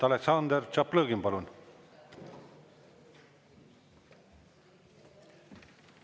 Aleksandr Tšaplõgin, palun!